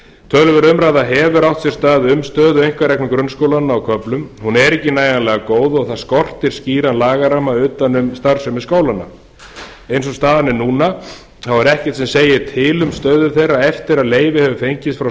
töluverð umræða hefur átt sér stað um stöðu einkareknu grunnskólanna á köflum hún er ekki nægjanlega góð og það skortir skýran lagaramma utan um starfsemi skólanna eins og staðan er núna er ekkert sem segir til um stöðu þeirra eftir að leyfi hefur fengist frá